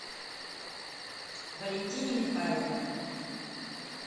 валентине михайловне